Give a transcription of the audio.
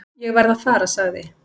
"""Ég verð að fara, sagði"""